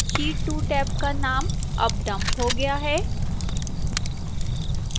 sheet 2 tab का नाम tab dump हो गया है